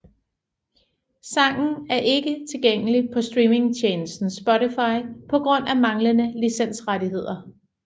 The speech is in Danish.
Sangen er ikke tilgængelig på streamingstjenesten Spotify på grund af manglende licensrettigheder